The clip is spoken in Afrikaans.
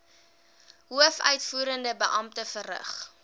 hoofuitvoerende beampte verrig